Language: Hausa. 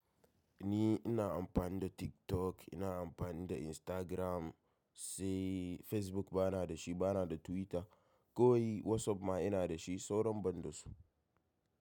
Ni ina amfani da TikTok, ina amfani da Instagram, sai Facebook bana dashi, bana da Twitter. Kawai WhatsApp ma ina dashi, sauran ban dasu.